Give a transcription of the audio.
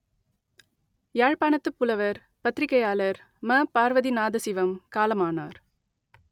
யாழ்ப்பாணத்துப் புலவர் பத்திரிகையாளர் ம பார்வதிநாதசிவம் காலமானார்